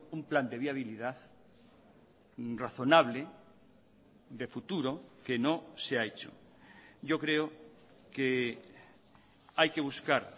un plan de viabilidad razonable de futuro que no se ha hecho yo creo que hay que buscar